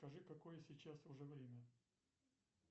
скажи какое сейчас уже время